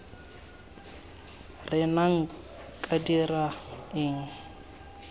re nna nka dira eng